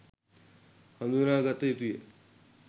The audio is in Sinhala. හඳුනාගත යුතු ය.